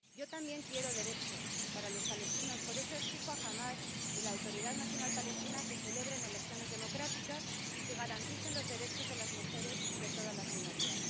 Yo también quiero derechos para los palestinos, por eso exijo a Hamás y a la Autoridad Nacional Palestina que celebren elecciones democráticas y que garanticen los derechos de las mujeres y de todas las minorías.